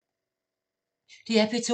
DR P2